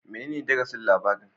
Menene darasin labarin